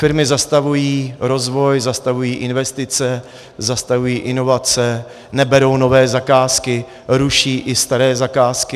Firmy zastavují rozvoj, zastavují investice, zastavují inovace, neberou nové zakázky, ruší i staré zakázky.